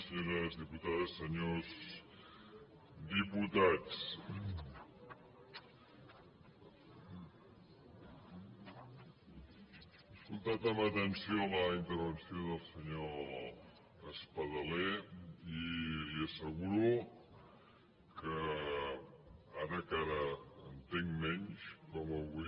senyores diputades senyors diputats he escoltat amb atenció la intervenció del senyor espadaler i li asseguro que ara encara entenc menys com avui